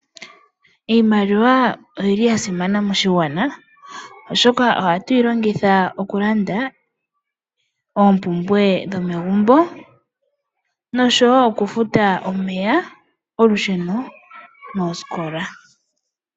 Iimaliwa oyi li ya simana moshigwana, oshoka ohatu yi longitha okulanda oompumbwe dhomegumbo, noshowo okufuta omeya, olusheno, noosikola.